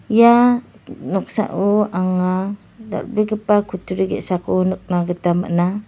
ia noksao anga dal·begipa kutturi ge·sako nikna gita man·a.